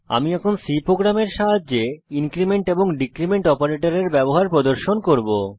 আমি এখন C প্রোগ্রামের সাহায্যে ইনক্রীমেন্ট এবং ডীক্রীমেন্ট অপারেটরের ব্যবহার প্রদর্শন করব